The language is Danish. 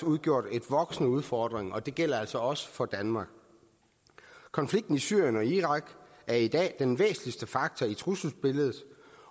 udgjort en voksende udfordring og det gælder altså også for danmark konflikten i syrien og irak er i dag den væsentligste faktor i trusselsbilledet